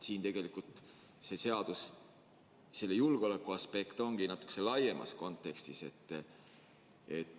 Tegelikult selle seaduse julgeolekuaspekt seisnebki natuke laiemas kontekstis.